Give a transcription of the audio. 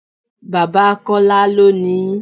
Bàbá Kọ́lá ló ni ín.